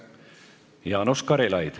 Jaanus Karilaid.